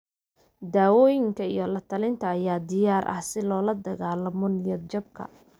Daawooyinka iyo la-talinta ayaa diyaar ah si loola dagaallamo niyad-jabka.